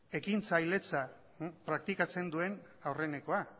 ekintzailetza praktikatzen duen aurrenekoa